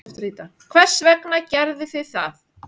Hvers vegna gerðuð þið það?